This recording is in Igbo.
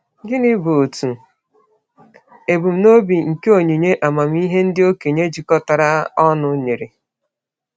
Gịnị bụ otu ebumnobi nke onyinye amamihe ndị okenye jikọtara ọnụ nyere?